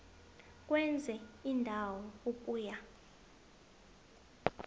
kwenye indawo ukuya